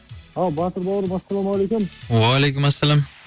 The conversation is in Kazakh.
ал батыр бауырым ассалаумағалейкем уағалейкумәссәләм